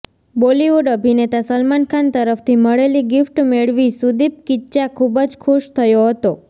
Bollywood અભિનેતા સલમાન ખાન તરફથી મળેલી ગીફ્ટ મેળવી સુદીપ કિચ્ચા ખૂબ જ ખુશ થયો હતો